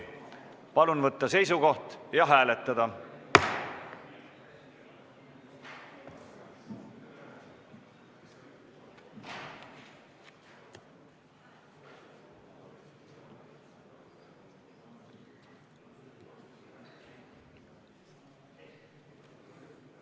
Palun võtta seisukoht ja hääletada!